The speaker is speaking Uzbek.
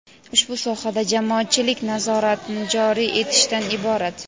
ushbu sohada jamoatchilik nazoratini joriy etishdan iborat.